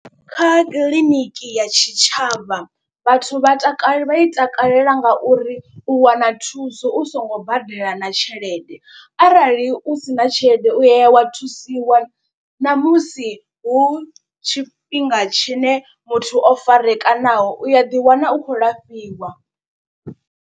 Kha kiḽiniki ya tshitshavha vhathu vha takale vha i takalela ngauri u wana thuso u songo badela na tshelede. Arali u sina tshelede u ya wa thusiwa namusi hu tshifhinga tshine muthu o farekanaho u ya ḓiwana u khou lafhiwa.